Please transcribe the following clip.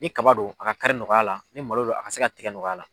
Ni kaba do a ka kari nɔgɔya la ni malo do a ka se ka tigɛ nɔgɔya la.